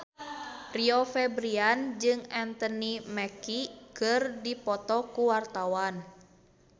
Rio Febrian jeung Anthony Mackie keur dipoto ku wartawan